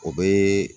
O bɛ